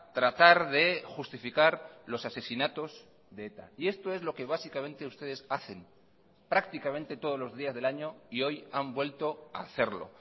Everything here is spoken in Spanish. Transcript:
tratar de justificar los asesinatos de eta y esto es lo que básicamente ustedes hacen prácticamente todos los días del año y hoy han vuelto a hacerlo